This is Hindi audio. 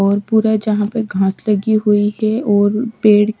और पूरा यहां पे घास लगी हुई है और पेड़--